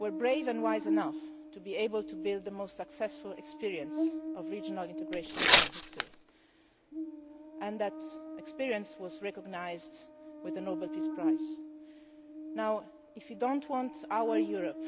were brave and wise enough to be able to build the most successful experience of regional integration in history. That experience was recognised with the Nobel Peace Prize. If you do not want our Europe